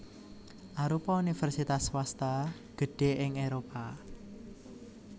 arupa universitas swasta gedhé ing Éropah